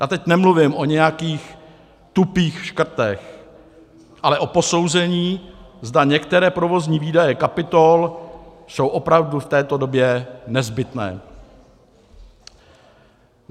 Já teď nemluvím o nějakých tupých škrtech, ale o posouzení, zda některé provozní výdaje kapitol jsou opravdu v této době nezbytné.